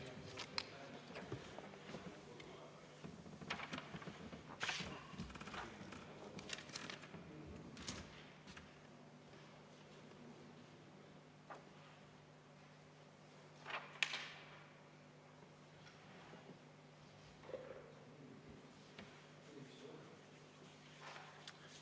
Aitäh!